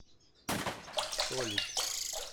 солит